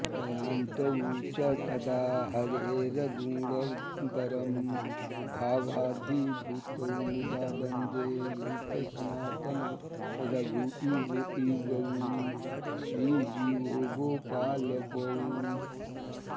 गायन्तौ च कदा हरेर्गुणवरं भावाभिभूतौ मुदा वन्दे रूपसनातनौ रघुयुगौ श्रीजीवगोपालकौ